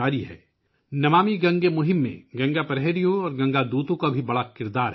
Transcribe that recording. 'نمامی گنگے' مہم میں گنگا پریہریوں اور گنگا دوتوں کا بھی بڑا کردار ہے